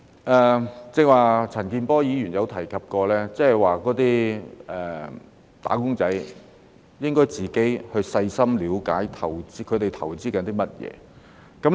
但是，陳健波議員剛才提及，"打工仔"應該自行細心了解自己的投資內容。